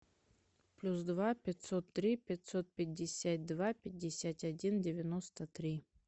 плюс два пятьсот три пятьсот пятьдесят два пятьдесят один девяносто три